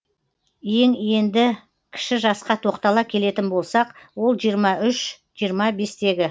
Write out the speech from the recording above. ең енді кіші жасқа тоқтала келетін болсақ ол жиырма үш жиырма бестегі